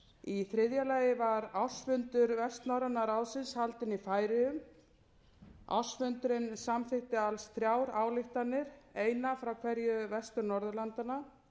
í þriðja lagi var ársfundur vestnorræna ráðsins haldinn í færeyjum ársfundurinn samþykkti alls þrjár ályktanir eina frá hverju vestur norðurlandanna